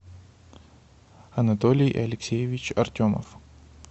анатолий алексеевич артемов